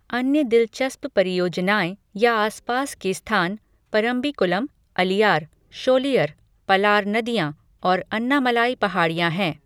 अन्य दिलचस्प परियोजनाएँ या आसपास के स्थान परम्बिकुलम, अलियार, शोलियर, पलार नदियाँ और अन्नामलाई पहाड़ियां हैं।